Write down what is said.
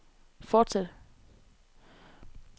fortsæt